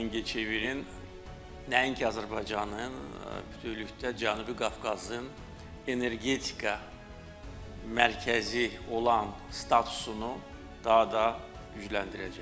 Mingəçevirin nəinki Azərbaycanın, bütövlükdə Cənubi Qafqazın energetika mərkəzi olan statusunu daha da gücləndirəcək.